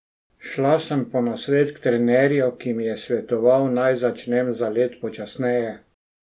Šla sem po nasvet k trenerju, ki mi je svetoval, naj začnem zalet počasneje.